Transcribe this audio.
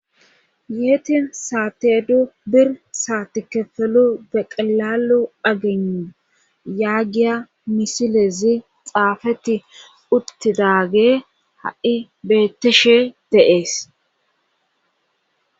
yeetin saate du bir saatikefelu deqilalu agenu yaagiya misilezi xaafetti uttidaage ha7i betteshe dee'es